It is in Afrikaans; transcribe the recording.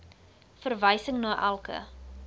verwysing na elke